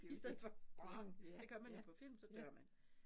I stedet for bang det gør man jo på film så dør man